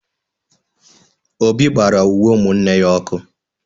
Obi gbara uwe umunne ya ọkụ